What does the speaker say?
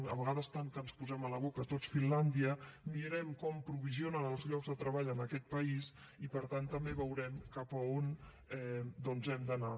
a vegades tant que ens posem a la boca tots finlàndia mirem com aprovisionen els llocs de treball en aquest país i per tant també veurem cap a on doncs hem d’anar